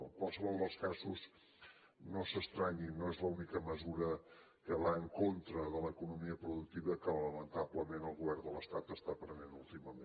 en qualsevol dels casos no s’estranyin no és l’única mesura que va en contra de l’economia productiva que lamentablement el govern de l’estat està prenent últimament